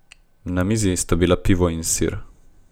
Na mizi sta bila pivo in sir.